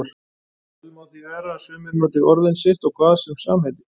Vel má því vera að sumir noti orðin sitt á hvað sem samheiti.